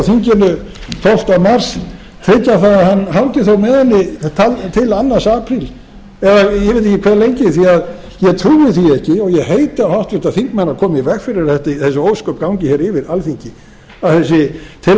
þinginu tólfta mars tryggja það að hann hangi þó með henni til annars apríl eða ég veit ekki hve lengi því að ég trúi því ekki og ég heiti á háttvirtu þingmenn að koma í veg fyrir að þessi ósköp gangi hér yfir alþingi að þessi